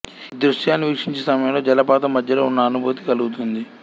ఈ దృశ్యాలను వీక్షించే సమయంలో జలపాతం మధ్యలో ఉన్న అనుభూతి కలుగుతుంది